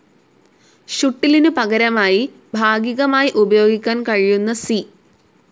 ഷുട്ടിലിനു പകരമായി ഭാഗികമായി ഉപയോഗിക്കാൻ കഴിയുന്ന സി.